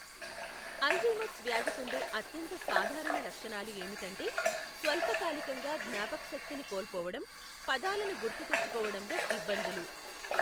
Alzheimer's వ్యాధికుండే అత్యంత సాధారణ లక్షణాలు ఏమిటంటే, స్వల్పకాలికంగా జ్ఞాపకశక్తిని కోల్పోవడం, పదాలను గుర్తుతెచ్చుకోవడంలో ఇబ్బందులు.